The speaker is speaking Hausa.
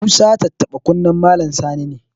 Musa tattaɓa kunnen Malam Sani ne.